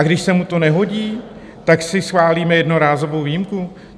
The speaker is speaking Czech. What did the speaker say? A když se mu to nehodí, tak si schválíme jednorázovou výjimku?